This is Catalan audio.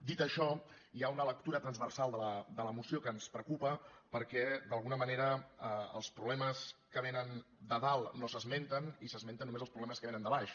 dit això hi ha una lectura transversal de la moció que ens preocupa perquè d’alguna manera els problemes que vénen de dalt no s’esmenten i s’esmenten només els problemes que vénen de baix